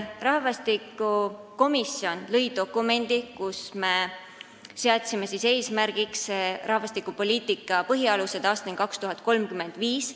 Rahvastikukomisjon lõi dokumendi, mille eesmärgiks seadsime rahvastikupoliitika põhialuste paikapaneku aastani 2035.